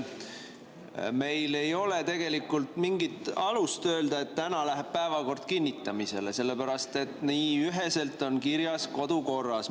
Meil ei ole tegelikult mingit alust öelda, et täna läheb päevakord kinnitamisele, sellepärast et nii on üheselt kirjas kodukorras.